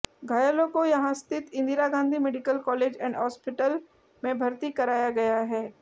घायलों को यहां स्थित Indira Gandhi medical college and hospital में भर्ती कराया गया है